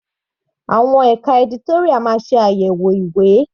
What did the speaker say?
Àwọn ẹka editorial máa ṣe àyẹ̀wò ìwé.